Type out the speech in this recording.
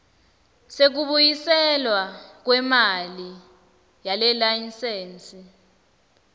sekubuyiselwa kwemali yelayisensi